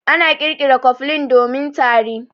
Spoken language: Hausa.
An ƙirƙira cofflin domin tari.